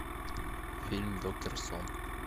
фильм доктор сон